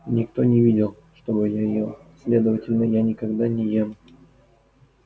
никто не видел чтобы я ел следовательно я никогда не ем